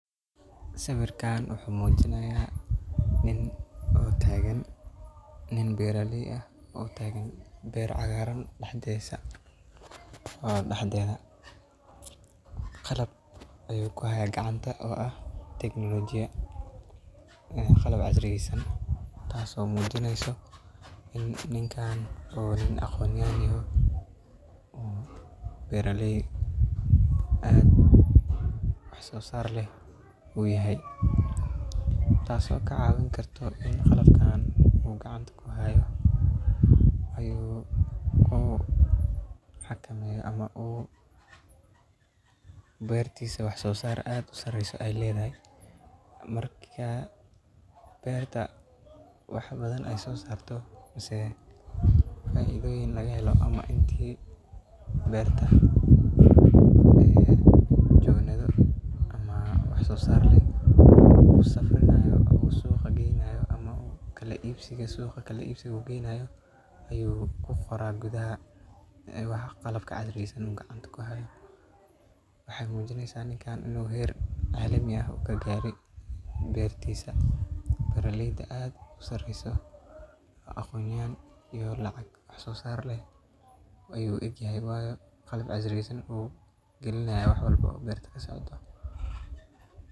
Sawirkan wuxu mujinaya nin oo tagan, nin oo beeraley ah oo tagan beer cagaran dhexdisa. Qalab ayu kuhaya gacanta oo ah teknolojiya taso mujinesa ini ninkan u yahay nin aqon yahan ah yahay beeraley aad wax uso saar ah u yahay taas oo kacawin karto ini qalabkan uu gacanta kuhayo uu kuhakameyo uu beertisa wax soo saar aad u qimo badan ay ledahay beertisa marka beerta wax badan ay so saarto ,faidoyin lagahelo mise inti beerta jogto wax soo sar leh uu safrinayo uu suqa geynayo ama uu suqa kala ibsiga u geynayo ayu kuqoraa gudaha qalbka casiriyeysan uu kuqoraa. Tani waxey mujinesa ini ninkan u kagare heer casri ah bertisa ,beeraleyda aad u sareso waa aqon yahan iyo lacag wax so saar leh ayu u eg yahay wayo qalab casriyeysan ayu gelinaya wax walbo oo beerta kasocdo.